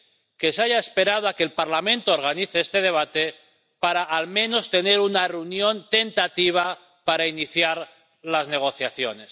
que se haya esperado a que el Parlamento organice este debate para al menos tener una reunión tentativa para iniciar las negociaciones.